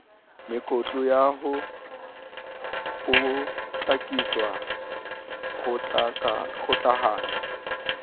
mekutu ya ho potlakisa kgokahanyo